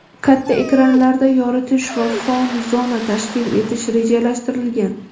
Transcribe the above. katta ekranlarda yoritish va fan-zona tashkil etish rejalashtirilgan.